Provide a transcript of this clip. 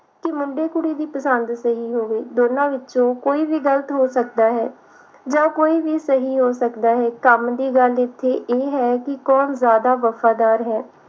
ਕਿ ਮੁੰਡੇ ਕੁੜੀ ਦੀ ਪਸੰਦ ਸਹੀ ਹੋਵੇ ਦੋਹਾਂ ਵਿਚੋਂ ਕੋਈ ਵੀ ਗਲਤ ਹੋ ਸਕਦਾ ਹੈ ਜਾਂ ਕੋਈ ਵੀ ਸਹੀ ਹੋ ਸਕਦਾ ਹੈ ਕੰਮ ਦੀ ਗੱਲ ਇਥੇ ਇਹ ਹੈ ਕਿ ਕੋਣ ਜਿਆਦਾ ਵਫਾਦਾਰ ਹੈ